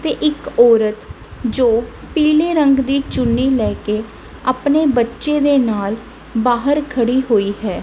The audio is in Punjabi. ਤੇ ਇੱਕ ਔਰਤ ਜੋ ਪੀਲੇ ਰੰਗ ਦੀ ਚੁੰਨੀ ਲੈਕੇ ਅਪਨੇ ਬੱਚੇ ਦੇ ਨਾਲ ਬਾਹਰ ਖੜੀ ਹੋਈ ਹੈ।